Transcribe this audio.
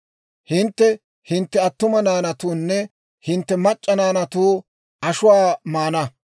Hintte hintte attuma naanatuwaanne hintte mac'c'a naanatuwaa ashuwaa maana.